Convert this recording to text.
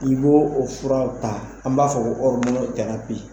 I b' o furaw ta an b'a fɔ ko ɔridinɛri kaya te ye